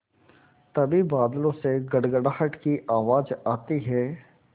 तभी बादलों से गड़गड़ाहट की आवाज़ आती है